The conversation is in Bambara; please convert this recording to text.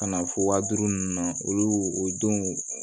Ka na fɔ waa duuru nunnu na olu o don